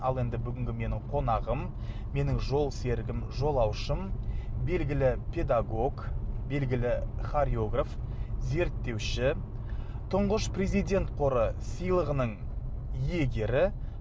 ал енді бүгінгі менің қонағым менің жол серігім жолаушым белгілі педагог белгілі хореограф зерттеуші тұңғыш президент қоры сыйлығының иегері